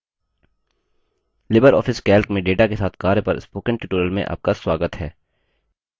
Libre office calc में data के साथ कार्य पर spoken tutorial में आपका स्वागत है